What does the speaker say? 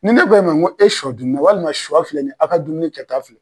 Ni ne k'o ma e sɔ dunna walima sɔ filɛ nin ye a ka dumuni kɛta don.